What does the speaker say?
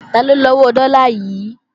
Taló ni owó dọ́là yìí?